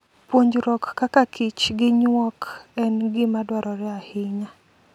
Puonjruok kaka kich gi nyuok en gima dwarore ahinya.